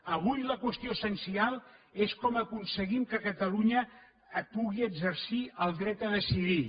avui la qüestió essencial és com aconseguim que catalunya pugui exercir el dret a decidir